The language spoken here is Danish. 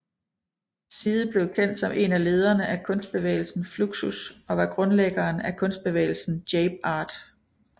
Side blev kendt som en af lederne af kunstbevægelsen Fluxus og var grundlæggeren af kunstbevægelsen Jape Art